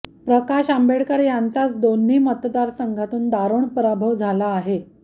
प्रकाश आंबेडकर याचच दोन्ही मतदार संघातून दारूण परभव झाला आहे